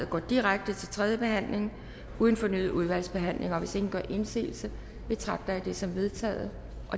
går direkte til tredje behandling uden fornyet udvalgsbehandling hvis ingen gør indsigelse betragter jeg det som vedtaget